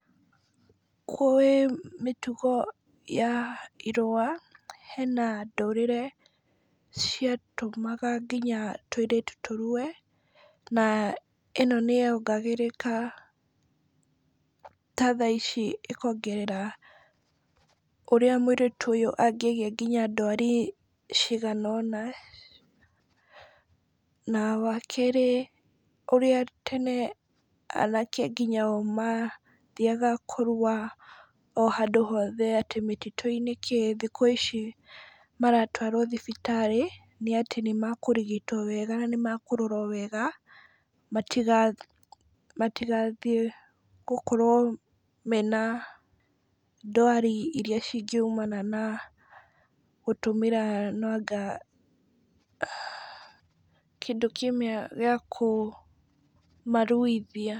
Kwĩ mĩtũgo ya irua, henda ndũrĩrĩ ciatũmaga nginya tũirĩtu tũrue, na ĩno nĩ yogarĩka, ta thaa ici ĩkongerera ũrĩa mũirĩtu ũyũ angĩgĩa nginya ndwari ciagana nona, na wakerĩ ũrĩa tene anake nginya o mathiaga kũrua o handũ hothe, atĩ mĩtitũ-inĩ, kĩ thikũ ici maratwarwo thibitarĩ nĩ atĩ nĩ makũrigitwo wega, na nĩ makũrorwo wega , matigathiĩ gũkorwo mena ndwari iria cingĩumana na gũtũmĩra nanga kĩndũ kĩmwe gĩa kũmaruithia.